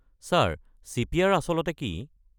Sir, CPR. আচলতে কি?